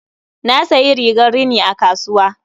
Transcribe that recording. Na sayi rigar rini a kasuwa.